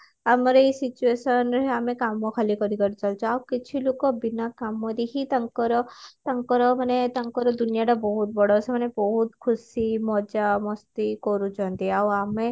ଆମର ଏଇ situation ରେ ଆମେ କାମ ଖାଲି କରିଚାଲୁଛେ କିଛି ଲୋକ ବିନା କାମ ଦେଖି ତାଙ୍କର ତାଙ୍କର ମାନେ ତାଙ୍କର ଦୁନିଆ ଟା ବହୁତ ବଡ ସେମାନେ ବହୁତ ଖୁସି ମଜା masti କରୁଛନ୍ତି ଆଉ ଆମେ